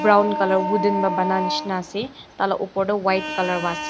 brown colour wooden pa bananishina ase tai la opor tu white colour wase--